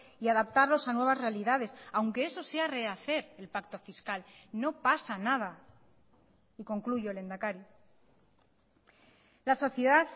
y adaptarlos a nuevas realidades aunque eso sea rehacer el pacto fiscal no pasa nada y concluyo lehendakari la sociedad